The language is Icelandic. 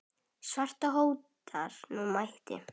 svartur hótar nú máti.